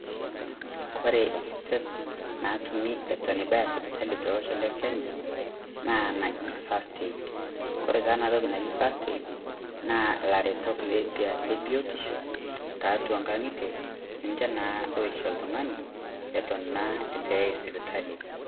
Ore iretot natumi Eton eitu ibaya sipitali tolosho lekenya naa engaji First Aid Kore taa ena toki naji First Aid naa ilaretok lebiotisho loishoyo tiatua ing'ang'itie Eton naa eitu eyai sipitali.